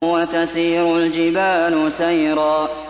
وَتَسِيرُ الْجِبَالُ سَيْرًا